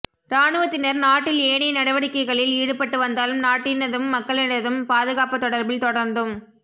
இராணுவத்தினர் நாட்டில் ஏனைய நடவடிக்கைகளில் ஈடுபட்டு வந்தாலும் நாட்டினதும் மக்களினதும் பாதுகாப்பு தொடர்பில் தொடர்நதும்